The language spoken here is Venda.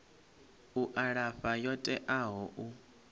u alafha yo teaho u